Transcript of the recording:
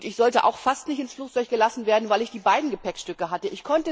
Ich sollte auch fast nicht ins Flugzeug gelassen werden, weil ich die beiden Gepäckstücke hatte.